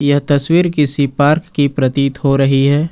यह तस्वीर किसी पार्क की प्रतीत हो रही है।